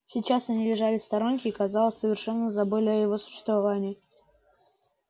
сейчас они лежали в сторонке и казалось совершенно забыли о его существовании